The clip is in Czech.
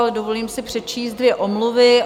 Ale dovolím si přečíst dvě omluvy.